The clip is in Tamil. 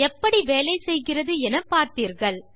எப்படி வேலை செய்கிறது என பார்த்தீர்கள்